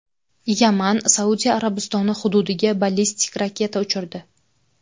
Yaman Saudiya Arabistoni hududiga ballistik raketa uchirdi.